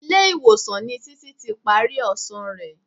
Ilé-ìwọ̀sàn ni Títí ti parí ọsàn rẹ.